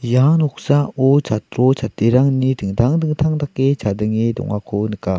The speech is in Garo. ia noksao chatro chatrirangni dingtang dingtang dake chadenge dongako nika.